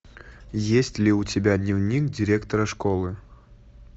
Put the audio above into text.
есть ли у тебя дневник директора школы